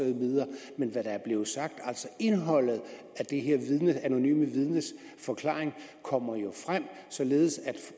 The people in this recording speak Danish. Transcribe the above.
men om hvad der er blevet sagt indholdet i det her anonyme vidnes forklaring kommer jo frem således